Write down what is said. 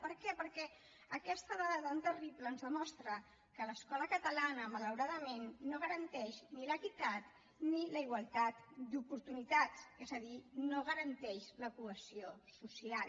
per què perquè aquesta dada tan terrible ens demostra que l’escola catalana malauradament no garanteix ni l’equitat ni la igualtat d’oportunitats és a dir no garanteix la cohesió social